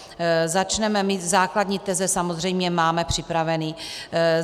Základní teze samozřejmě máme připraveny.